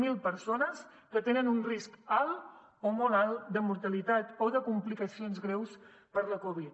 zero persones que tenen un risc alt o molt alt de mortalitat o de complicacions greus per la covid